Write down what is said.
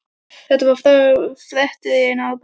Hvað er að frétta hérna í Árbænum?